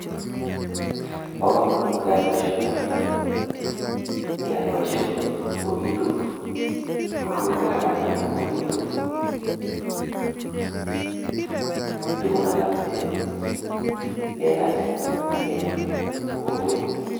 Bo komonut keyai boisioni amune ko ni, ngeyai boisioni kobitu rirutik alak anan kobitu tugun alak chelelach.